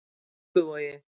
Dugguvogi